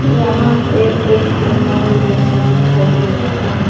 यहां पे एक मॉल जैसा दिखाई दे रहा है।